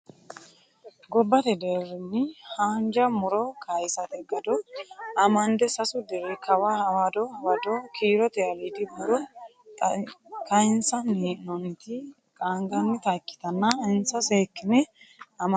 Gobbate deerinni haanja muro kayisate gado amande sasu diri kawa hawado hawado kiirote aliidi muro kayinsanni hee'noonniti qaangannitta ikkittanna insa seekkine amaxa noonke.